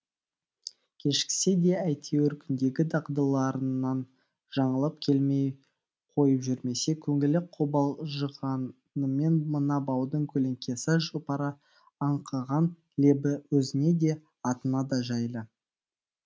кешіксе де әйтеуір күндегі дағдыларынан жаңылып келмей қойып жүрмесе көңілі қобалжығанымен мына баудың көлеңкесі жұпары аңқыған лебі өзіне де атына да жайлы